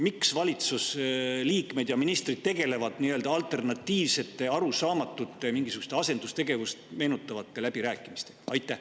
Miks valitsusliikmed, ministrid, tegelevad alternatiivsete, arusaamatute, mingisuguste asendustegevust meenutavate läbirääkimistega?